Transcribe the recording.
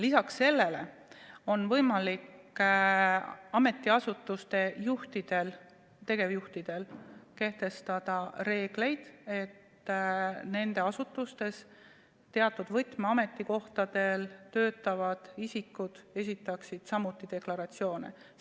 Peale selle on võimalik ka ametiasutuste juhtidel, tegevjuhtidel kehtestada reeglid, et nende asutustes teatud võtmeametikohtadel töötavad isikud peaksid samuti deklaratsiooni esitama.